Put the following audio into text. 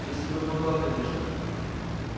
если бы могла конечно